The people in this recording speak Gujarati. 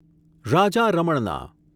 રાજા રમણના